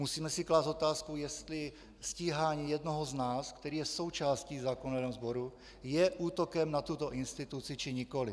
Musíme si klást otázku, jestli stíhání jednoho z nás, který je součástí zákonodárného sboru, je útokem na tuto instituci, či nikoliv.